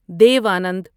دیو آنند